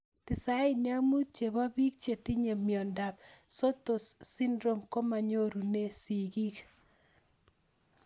95% chepo pik chetinye miondop Sotos syndrome komanyorunee sig'ik